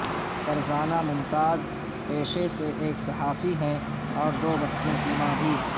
فرزانہ ممتاز پیشے سے ایک صحافی ہیں اور دو بچوں کی ماں بھی